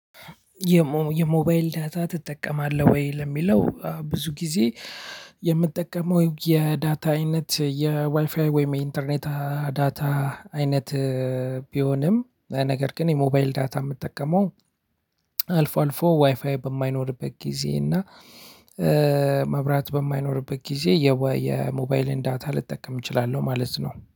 የሞባይል ዳታ ትጠቀማለህ ወይ? ለሚለው ብዙ ጊዜ የምጠቀመው የዳታ አይነት የዋይፋይ ወይም የኢንተርኔት ዳታ አይነት። ቢሆንም ነገር ግን የሞባይል ዳታ እምጠቀመው። አልፎ አልፎ ዋይፋይ በማይኖርበት ጊዜ እና መብራት በማይኖርበት ጊዜ የሞባይልን ዳታ ልጠቀም እችላለሁ ማለት ነው